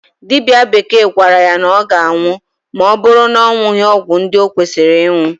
Dibịa bekee gwara ya na ọ ga-anwụ ma ọ bụrụ na ọ ṅụghị ọgụ ndị o kwesịrị ịṅụ.